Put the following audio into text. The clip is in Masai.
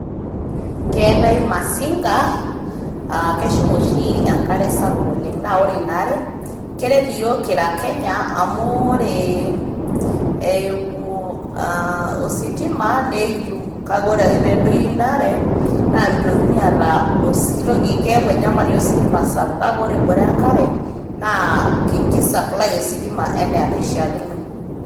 Keetae Masinga ee keshum oshi enkare sapuk oleng ,naa ore ina are keret iyiook kira kenya amu ore aa mm eimu ositima naa ekitum . ore pedoyio ina are naa mitokini aata osi keaku enyamali ositima sapuk ,kake ore ebore enkare naa ki supply ositima anaa enaishiakino.